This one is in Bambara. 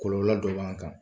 Kɔlɔla dɔ b'an kan